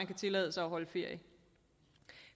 kan tillade sig at holde ferie